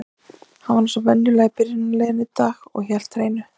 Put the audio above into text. Hann var eins og venjulega í byrjunarliðinu í dag og hélt hreinu.